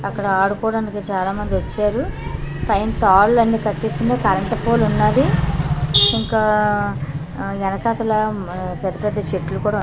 అక్కడ ఆడుకోడానికి చాలామందొచ్చారు పైన తాళ్ళన్నీ కట్టేసుంది కరెంటు పోలున్నాది ఇంకా ఎనకతలా పెద్ద పెద్ద చెట్లు కూడా ఉన్--